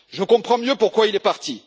Je comprends mieux pourquoi il est parti.